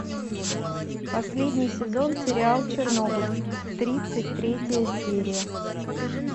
последний сезон сериал чернобыль тридцать третья серия